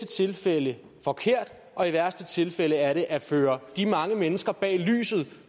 tilfælde forkert og i værste tilfælde er det at føre de mange mennesker bag lyset